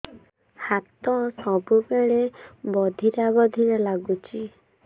ହାତ ସବୁବେଳେ ବଧିରା ବଧିରା ଲାଗୁଚି